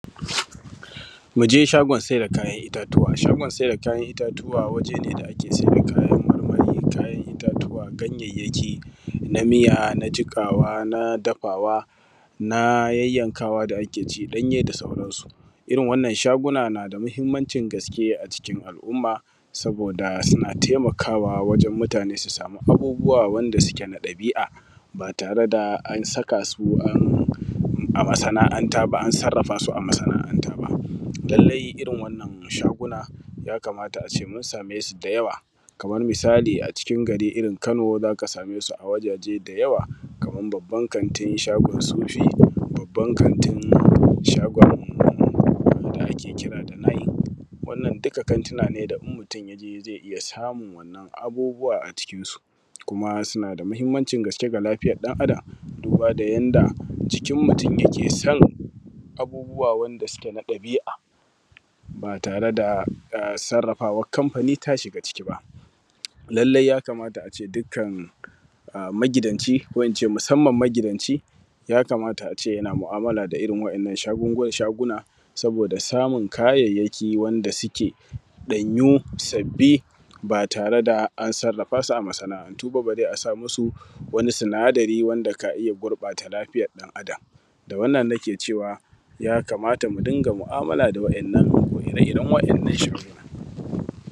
Muje shagon sai da kayan itatuwa. Shagon sai da kayan itatuwa waje ne da ake sai da kayan itatuwa ganyyayaki na miya, na jiƙawa, na dafawa, na yayyankawa da ake ci danye, da sauransu. Irin wannan shaguna na da mahimmanci gaske a cikin al’umma saboda suna taimaka wajen mutane su samu abubuwa wanda suke na dabi’a ba tare da an saka su a masana’anta ba an sarrafa su a masana’anta ba. Lalle irin wannan shaguna yamata ace mun same su da yawa kamar misali a cikin gari irin Kano zaka same su a wajaje da yawa, kaman babban kantin shagon sufi, babban kantin shagon da ake kira da nik, wannan duka kantina ne da mutum in yaje zai iya samun wannan abubuwa a cikinsu kuma suna da mahimmancin gaske ga lafiyar dan adam duba da yanda jikin mutum yake son abubuwa wanda suke na dabi’a ba tare da sarrafawan kamfani ya shiga ciki ba. Lalle ya kamata ace dukkan a magidanci ko ince musamman magidanci ya kamata ace ace yana mu’amala da irin wa’innan shagungunan, shaguna saboda samun kayyayaki wanda suke ɗanyu, sabi, ba tare da an sarrafa su a masana’antu ba bare a sa musu wani sinadari wanda ka iya gurɓata lafiyar dan adan. Da wannan nike cewa ya kamata mu dunga mu’amala da ire iren wa’innan shhhh